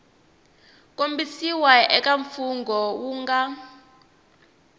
kombisiwa eka mfungho wu nga